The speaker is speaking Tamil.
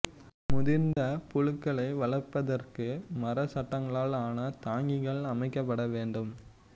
முதிர்ந்த புழுக்களை வளர்ப்பதற்கு மர சட்டங்களால் ஆன தாங்கிகள் அமைக்கப்பட வேண்டும்